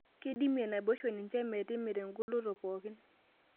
Keidimie naboisho ninche metimira ongoloto pookin